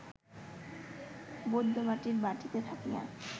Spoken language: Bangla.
বৈদ্যবাটীর বাটীতে থাকিয়া